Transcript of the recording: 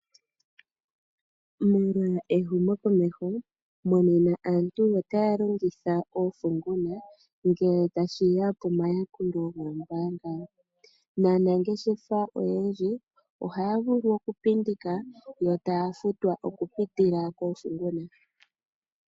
Molwa ehumo komeho nena aantu otaya longitha oofunguna ngele tashiya pomayakulo goombaanga. Naanangeshefa oyendji ohaya vulu oku pindika yo taya futwa oku pitila koofunguna.